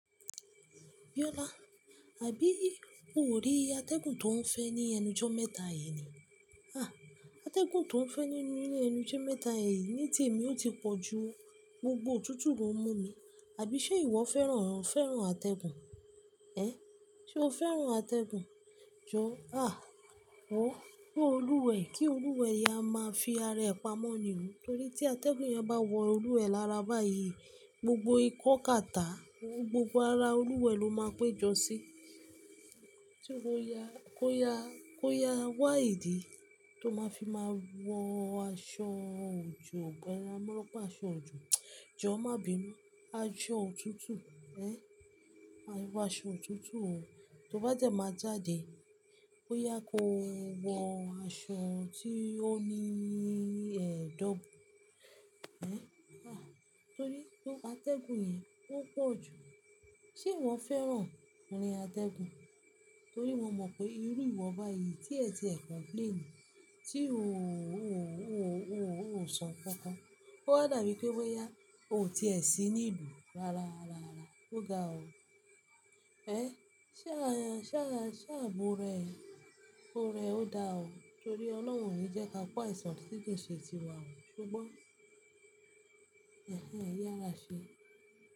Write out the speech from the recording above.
Biola àbí o ò rí atẹ́gùn tó ń fẹ́ ní ẹnu jọ́ mẹ́ta yìí ni? Àtẹ́gùn tó ń fẹ́ nínú ilé ẹnu jọ́ mẹ́ta yìí ní tìmí ó ti pọ̀ jú gbogbo òtútù lọ ń mú mi. Àbí ṣe ìwọ fẹ́ràn, fẹ́ràn atẹ́gùn? Ẹ̀, ṣé o fẹ́ràn atẹ́gùn? Jòọ́, àá, ó, kó olúwẹ̀, kí olúwẹ̀ yá máa fi ara ẹ̀ pa mọ́ ni o. Tórí tí atẹ́gùn yẹn bá wọ olúwẹ̀ lára báyìí, gbogbo ìkọ́ kata, gbogbo ara olúwẹ̀ ló máa pé jọ sí. Sé ó yá, kó yá, kó yá wáìdí tó máa fi máa wọ aṣọ òjò gan-an, mọ́rán pa aṣọ òjò. Jòọ́ má bímọ́, aṣọ òtútù, ẹ̀, aṣọ òtútù o. Tó bá dé máa jáde, bóyá kó wọ aṣọ tí ó ní ẹ̀dọ̀. Ẹ̀, àá, tórí pe atẹ́gùn yẹn, ó pọ̀ jù. Ṣé ìwọ fẹ́ràn irin atẹ́gùn? Torí mo mọ̀ pé irú ìwọ̀ báyìí tí ẹ ti ẹ̀ complain, tí sọ kankan. O wa dàbí pé bóyá o tiẹ̀ sí ní ìlú. Rárá, rárá, rárá, ó ga ọ. Ẹ̀, ṣé àyàn, ṣé àyà, ṣé àbúrọ̀ ẹ, ọkọ ẹ ó dá ọ. Torí ọlọ́run òní jẹ́ ka kò àìsàn tí kì í ṣe tiwa o. Ṣùgbọ́n, ẹ̀hen, yárà ṣe.